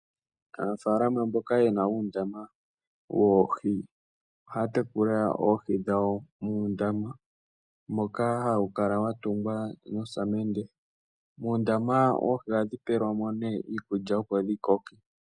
Aanafalama mboka ye na uundama woohi omo haye dhi tekulile. Ohawu kala wa tungwa noosamende nohadhi pelwa mo iikulya, opo dhi koke.